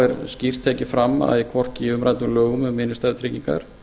er skýrt tekið fram að hvorki í umræddum lögum um innstæðutryggingar